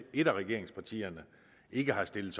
et af regeringspartierne ikke har stillet